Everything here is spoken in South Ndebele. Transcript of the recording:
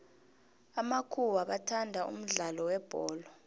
amakhuwa bathanda umudlalo webholo